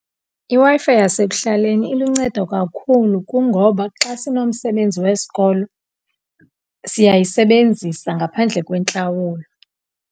IWi-Fi yasekuhlaleni iluncedo kakhulu kungoba xa sinomsebenzi wesikolo, siyayisebenzisa ngaphandle kwentlawulo.